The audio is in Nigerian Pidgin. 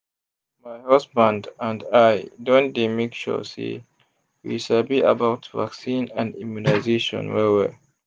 my husband and i don dey make sure say we sabi about vaccine and immunization well-well.